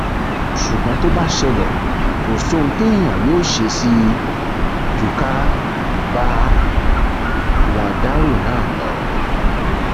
ṣùgbọn tó bá ṣẹlẹ kò sóhun téèyàn yóò ṣe sí i ju ká bá wọn dárò náà lọ